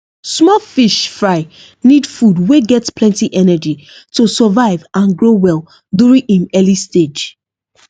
small fish fry need food wey get plenty energy to survive and grow well during im early stage